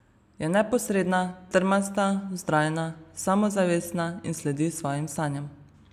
Je neposredna, trmasta, vztrajna, samozavestna in sledi svojim sanjam.